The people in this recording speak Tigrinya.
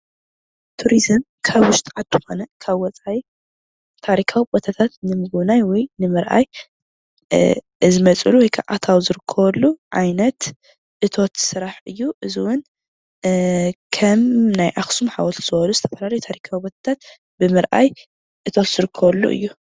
ቱሪዝም ካብ ውሽጢ ዓዲ ኮነ ካብ ወፃኢ ታሪካዊ ቦታታት ንምግብናይ ወይ ንምርኣይ ዝመፅሉ ወይክዓ ኣታዊ ዝርከበሉ ዓይነት እቶት ስራሕ እዩ፡፡ እዚ እውን ከም ናይ ኣክሱም ሓወልቲ ዝበሉ ዝተፈላለዩ ታሪካዊ ቦታታት ብምርኣይ እቶት ዝርከበሉ እዩ፡፡